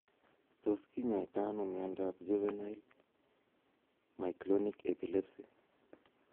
Tos kinyaita nao miondap juvenile myoclonic epilepsy?